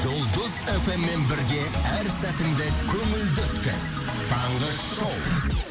жұлдыз эф эм мен бірге әр сәтіңді көңілді өткіз таңғы шоу